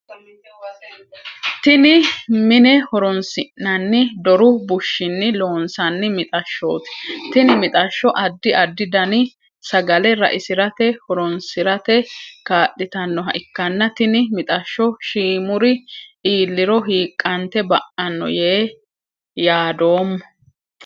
Tinni mine horoonsi'nanni doru bushinni loonsanni mixashooti. Tinni mixasho addi addi danni sagale raisirate horoonsirate kaa'litanoha ikanna tinni mixasho shiimuri iiliro hiiqante ba'ano yee yaadoomo.